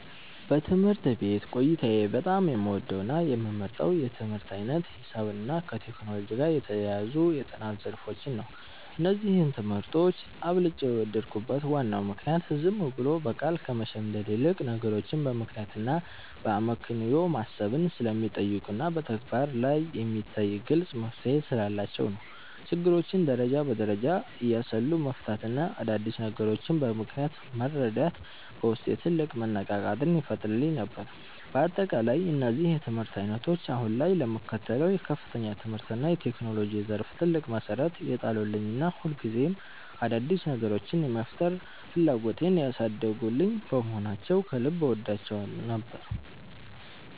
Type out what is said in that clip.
በትምህርት ቤት ቆይታዬ በጣም የምወደውና የምመርጠው የትምህርት ዓይነት ሂሳብንና ከቴክኖሎጂ ጋር የተያያዙ የጥናት ዘርፎችን ነበር። እነዚህን ትምህርቶች አብልጬ የወደድኩበት ዋናው ምክንያት ዝም ብሎ በቃል ከመሸምደድ ይልቅ፣ ነገሮችን በምክንያትና በአመክንዮ ማሰብን ስለሚጠይቁና በተግባር ላይ የሚታይ ግልጽ መፍትሔ ስላላቸው ነው። ችግሮችን ደረጃ በደረጃ እያሰሉ መፍታትና አዳዲስ ነገሮችን በምክንያት መረዳት በውስጤ ትልቅ መነቃቃትን ይፈጥርልኝ ነበር። በአጠቃላይ እነዚህ የትምህርት ዓይነቶች አሁን ላይ ለምከተለው የከፍተኛ ትምህርትና የቴክኖሎጂ ዘርፍ ትልቅ መሠረት የጣሉልኝና ሁልጊዜም አዳዲስ ነገሮችን የመፍጠር ፍላጎቴን ያሳደጉልኝ በመሆናቸው ከልብ እወዳቸው ነበር።